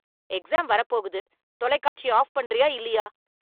Exam வரப்போகுது, தொலைக்காட்சியை off பண்றியா இல்லையா?